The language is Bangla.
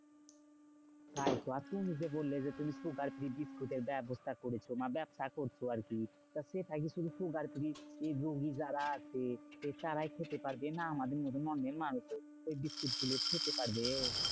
তাইতো আর তুমি যে বললে যে, তুমি sugar free biscuit এর ব্যাবস্হা করেছো না ব্যাবসা করছো আরকি। তা সেটা কি তুমি sugar free রুগী যারা আছে তারাই খেতে পারবে? না আমাদের মতন অনেক মানুষও এই biscuit গুলো খেতে পারবে?